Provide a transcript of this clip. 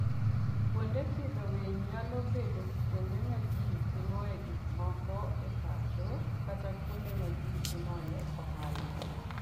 Kuonde pidho winy nyalo bedo kuonde ma ji timoe gik moko e pacho kata kuonde ma ji timoe ohala.